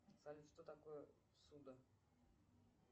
салют что такое ссуда